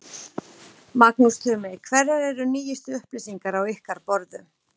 Magnús Tumi, hverjar eru nýjustu upplýsingar á ykkar borðum?